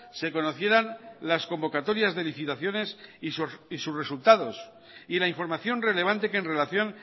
se conocieran las convocatorias de licitaciones y sus resultados y la información relevante que en relación